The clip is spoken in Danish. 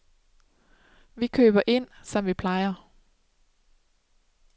Vi køber ind, som vi plejer.